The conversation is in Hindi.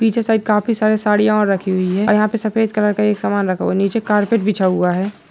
पीछे साइड काफी सारे साड़ियां और रखी हुई है और यहां पर सफेद कलर का एक समान रखा हुआ है| नीचे कारपेट बिछा हुआ है।